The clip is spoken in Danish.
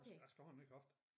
Jeg jeg skal have en ny hofte